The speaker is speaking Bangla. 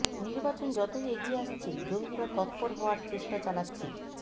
নির্বাচন যতই এগিয়ে আসছে জঙ্গিরা তৎপর হওয়ার চেষ্টা চালাচ্ছে